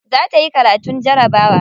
Za ta yi karatun jarabawa.